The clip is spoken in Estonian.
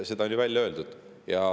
Seda on ju välja öeldud.